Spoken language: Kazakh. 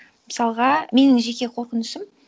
мысалға менің жеке қорқынышым